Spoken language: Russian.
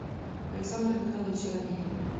александр михайлович арамеев